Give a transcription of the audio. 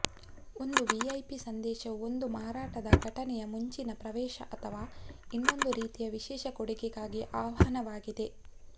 ಒಂದು ವಿಐಪಿ ಸಂದೇಶವು ಒಂದು ಮಾರಾಟದ ಘಟನೆಗೆ ಮುಂಚಿನ ಪ್ರವೇಶ ಅಥವಾ ಇನ್ನೊಂದು ರೀತಿಯ ವಿಶೇಷ ಕೊಡುಗೆಗಾಗಿ ಆಹ್ವಾನವಾಗಿದೆ